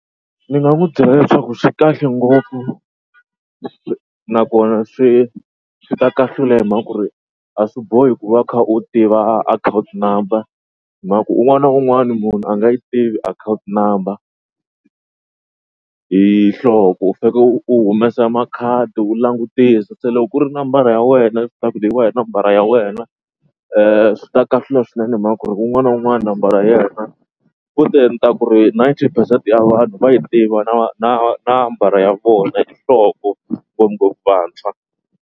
Ni nga n'wi byela leswaku swi kahle ngopfu nakona swi swi ta kahlula hi mhaka ku ri a swi bohi ku va u kha u tiva akhawunti number hi mhaka ku un'wana na un'wana munhu a nga yi tivi akhawunti number hi nhloko u faneke u humesa makhadi u langutisa. Se loko ku ri nambara ya wena hi nambara ya wena swi ta kahlula swinene hi mhaka ku ri un'wana na un'wana nambara ya yena futhe ni ta ku ri ninety percent ya vanhu va yi tiva na na nambara ya vona hi nhloko ngopfu vantshwa.